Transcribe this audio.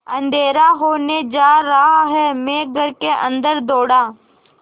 अँधेरा होने जा रहा है मैं घर के अन्दर दौड़ा